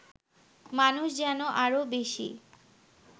মানুষ যেন আরও বেশি